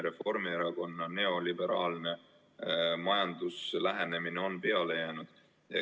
Reformierakonna neoliberaalne majanduslik lähenemine on peale jäänud.